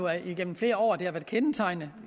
at det igennem flere år